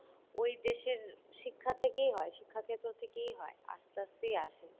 ওই দেশের শিক্ষা থেকেই হয় শিক্ষাক্ষেত্র থেকেই হয় আস্তে আস্তেই আসে।